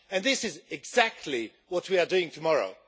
And this is exactly what we are doing tomorrow.